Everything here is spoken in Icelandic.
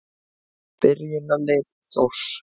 Byrjunarlið Þórs.